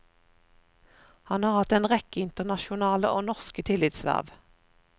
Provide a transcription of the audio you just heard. Han har hatt en rekke internasjonale og norske tillitsverv.